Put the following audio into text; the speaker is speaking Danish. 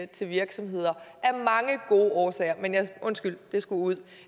til virksomheder af mange gode årsager undskyld det skulle ud